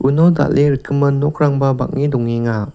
uno dal·e rikgimin nokrangba bang·e dongenga.